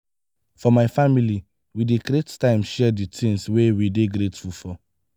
for my family we dey create time share di tins wey we dey grateful for.